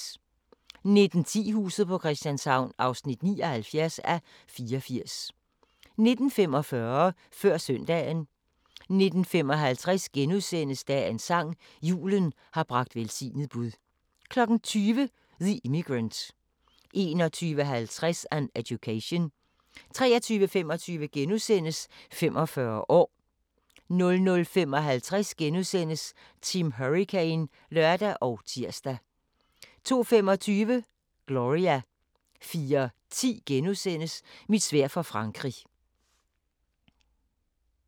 19:10: Huset på Christianshavn (79:84) 19:45: Før søndagen 19:55: Dagens sang: Julen har bragt velsignet bud * 20:00: The Immigrant 21:50: An Education 23:25: 45 år * 00:55: Team Hurricane *(lør og tir) 02:25: Gloria 04:10: Mit sværd for Frankrig *